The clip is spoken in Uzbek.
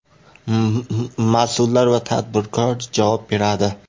Mas’ullar va tadbirkor javob beradi.